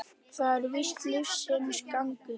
Það er víst lífsins gangur.